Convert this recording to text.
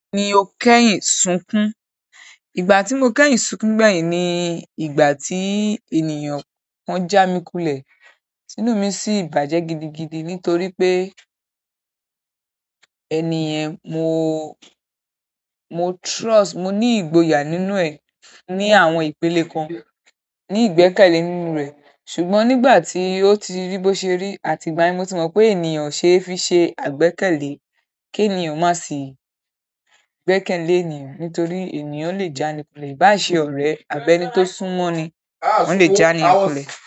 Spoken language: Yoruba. Èmi o kẹ́yìn sunkún, ìgbà tí mo kẹ́yìn sunkún gbẹ̀yìn ni ìgbà tí ènìyàn kan já mi kulẹ̀, inú mi sì bàjẹ́ gidigidi nítorí pé ẹni yẹn mo, mo trust, mo ní ìgboyà nínú ẹ̀, ní àwọn ìpele kan, ní ìgbẹ́kẹ̀lé nínú rẹ̀. Ṣùgbọ́n nígbà tí ó tí rí bí ó se rí, àti ìgbà yẹn ní mo ti mọ pé ènìyàn kò se fi se àgbẹ́kẹ̀lẹ́, kí ènìyàn má sì gbẹ́kẹ̀lé ènìyàn nítorí ènìyàn lè jáni kulẹ̀ ìbá se ọ̀rẹ́ àbí ẹni tí ó sún mọ́ni, wọ́n lè jáni kulẹ̀